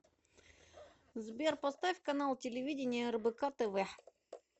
сбер поставь канал телевидения рбк тв